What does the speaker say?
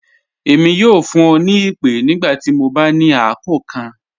Ẹmi yọ fun ọ ni ipe nigbati mọ ba ni akọọkan.